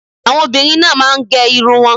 Àwọn obìnrin náà máa ń gẹ irun wọn.